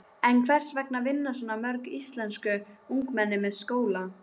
En hvers vegna vinna svona mörg íslensk ungmenni með skóla?